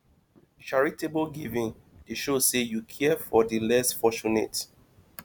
charitable giving dey show say yu care for di less fortunate